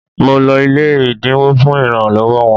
Mo lọ ilé ẹ̀dínwó fún ìrànlọ́wọ́ wọn